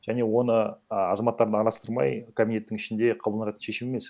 және оны а азаматтарды араластырмай кабинеттің ішінде шешу емес